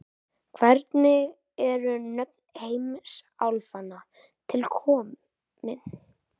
hvernig eru nöfn heimsálfanna til komin